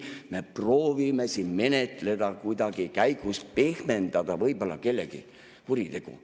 Ei, me proovime siin menetleda, kuidagi käigus pehmendada võib-olla kellegi kuritegu.